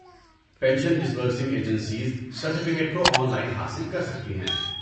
Pension disbursing agencies certificate کو online حاصل کر سکتی ہیں۔